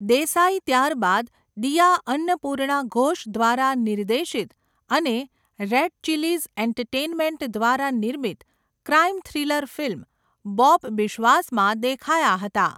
દેસાઈ ત્યારબાદ દિયા અન્નપૂર્ણા ઘોષ દ્વારા નિર્દેશિત અને રેડ ચિલીઝ એન્ટરટેઈનમેન્ટ દ્વારા નિર્મિત ક્રાઈમ થ્રિલર ફિલ્મ બોબ બિશ્વાસમાં દેખાયા હતા.